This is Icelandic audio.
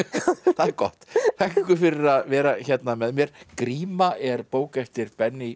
það er gott þakka ykkur fyrir að vera hérna með mér gríma er bók eftir